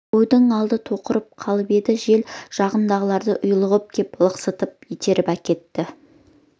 қойдың алды тоқырап қалып еді жел жағындағылары ұйлығып кеп лықсытып итеріп әкетті